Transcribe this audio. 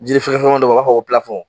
Jiri fɛkɛfɛkɛmanin dɔ bɛ yen, o b'a f'a ma ko